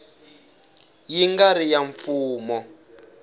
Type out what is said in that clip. yi nga ri ya mfumo